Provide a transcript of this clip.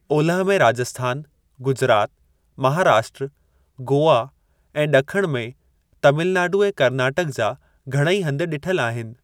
ओलह में राजस्थान, गुजरात, महाराष्ट्र, गोआ ऐं ड॒खिण में तमिलनाडू ऐं कर्नाटक जा घणेई हंध डि॒ठलु आहिनि।